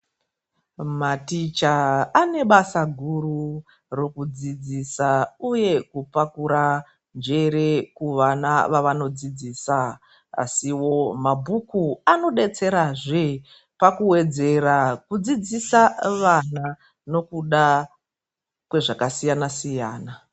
Maticha ane basa guru rokudzidzisa uye kupakura njere kuvana vavanodzidzisa. Asiwo mabhuku anodetserazve pakuwedzera kudzidzisa vana neokuda kwezvakasiyana siyana.